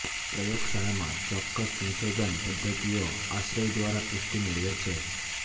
પ્રયોગશાળામાં ચોક્કસ સંશોધન પદ્ધતિઓ આશ્રય દ્વારા પુષ્ટિ મેળવે છે